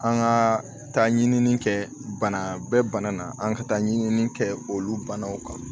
An ka taa ɲinini kɛ banabɛ bana na an ka taa ɲinini kɛ olu banaw kan